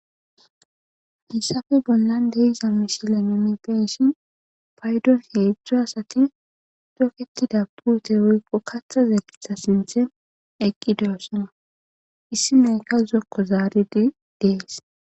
hissafe bollan de7iza mishilen nuni be7ishin paydon heedzdzu asati toketida puute woykko katha zeeretha sinthe eqqi de7ossona issi meyka zokko zaaridi dees